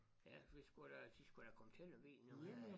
Ja vi skulle da de skulle da komme til Lemvig nu her